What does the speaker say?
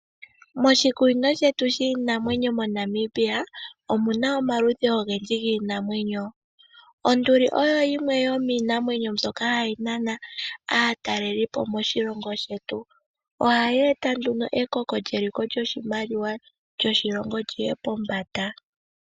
Moshikunino shetu shiinamwenyo MoNamibia omu na omaludhi ogendji giinamwenyo, onduli oyo yimwe yomiinamwenyo mbyoka hayi nana aatalelipo moshilongo shetu, ohayi eta nduno ekoko lyeliko lyoshimaliwa lyoshilongo lyi ye pombanda.